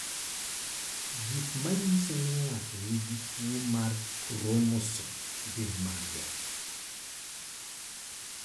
Gik manyiso ni ng'ato nigi tuwo mar kromosom gin mage?